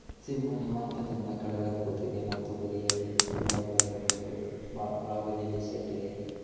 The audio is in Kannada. ಸಿಂಹ ನಿವಾಂತದಿಂದ ಕೆಳಗಡೆ ಕೂತಿದೆ ಮತ್ತು ಬದಿಯಲ್ಲಿ ತುಂಬಾ ಗಿಡಗಳಿವೆ ಅ ಬದಿಯಲ್ಲಿ ಶೆಡ್ ಇದೆ.